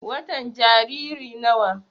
watan Jariri nawa?